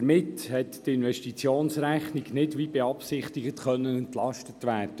Damit konnte die Investitionsrechnung nicht wie beabsichtigt entlastet werden.